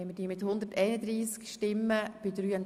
Sie haben Ziffer 1 der Motion überwiesen.